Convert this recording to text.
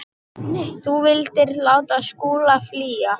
Þú vildir láta Skúla flýja.